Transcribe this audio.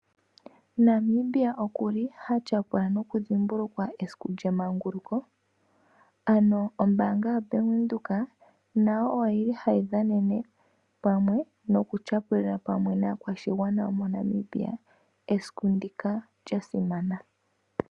Namibia oku li ha tyapula nokudhimbulukwa esiku lyemanguluko , ano ombaanga yaBank Windhoek nayo oyili hayi dhanene pamwe nokutyapula pamwe naakwashigana yomoNamibia esiku ndika lyasimana